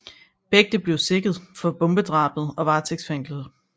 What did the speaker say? Begge blev sigtet for bombedrabet og varetægtsfængslet